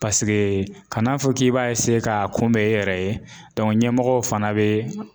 paseke kan'a fɔ k'i b'a eseye k'a kunbɛ e yɛrɛ ye dɔnku ɲɛmɔgɔ fana be